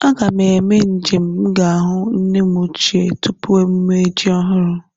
A ga m eme nje m ga hụ nne m ochie tupu emume ji ọhụrụ